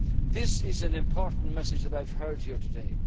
This is an important message that I have heard here today.